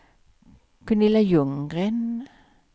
Gunilla Ljunggren